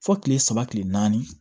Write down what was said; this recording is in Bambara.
Fo kile saba kile naani